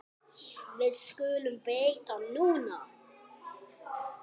Þessu skulum við breyta núna.